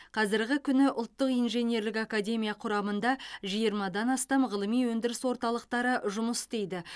қазіргі күні ұлттық инженерлік академия құрамында жиырмадан астам ғылыми өндіріс орталықтары жұмыс істейді